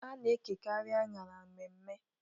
A na-ekekarị anyara mmemme.